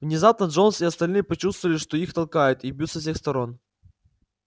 внезапно джонс и остальные почувствовали что их толкают и бьют со всех сторон